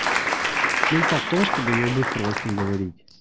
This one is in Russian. смысл в том чтобы её быстро очень говорить